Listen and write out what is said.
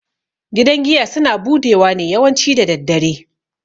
Gidan giya suna budewa ne yawanci daddare.